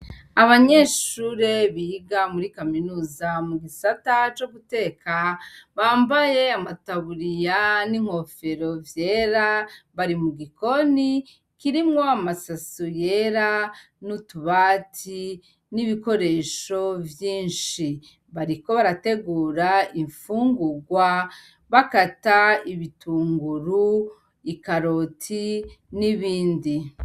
Abanyeshure biga muri kaminuza mu gisata co guteka bambaye amataburiya n'inkofero vyera, bari mu gikoni kirimwo amasaso yera n'utubati n'ibikoresho vyinshi. Bariko barategura imfungurwa bakata ibitunguru, ikaroti n'ibindi.